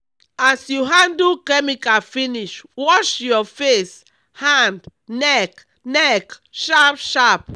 as you handle chemical finish wash your face hand neck neck sharp sharp.